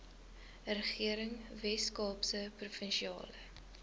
regering weskaapse provinsiale